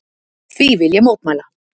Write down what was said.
Því vil ég mótmæla!